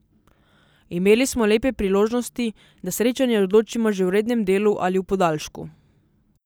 Imeli smo lepe priložnosti, da srečanje odločimo že v rednem delu ali v podaljšku.